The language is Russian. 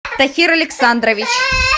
тахир александрович